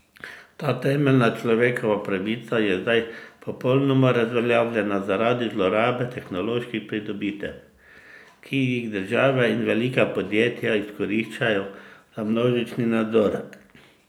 Ta temeljna človekova pravica je zdaj popolnoma razveljavljena zaradi zlorabe tehnoloških pridobitev, ki jih države in velika podjetja izkoriščajo za množični nadzor.